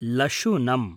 लशुनम्